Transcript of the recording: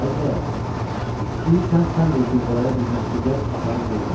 Ayzə, istəyirsən sən də Gülbalaya bir məktub yaz, aparım verim ona.